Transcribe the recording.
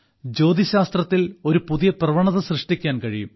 ജ്യോതിശാസ്ത്രത്തിൽ ഒരു പുതിയ പ്രവണത സൃഷ്ടിക്കാൻ കഴിയും